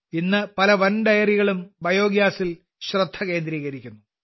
ഇന്ന് പല വൻകിട ഡെയറികളും ബയോഗ്യാസിൽ ശ്രദ്ധ കേന്ദ്രീകരിക്കുന്നു